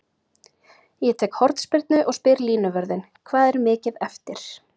Ég tek hornspyrnu og spyr línuvörðinn: Hvað er mikið eftir?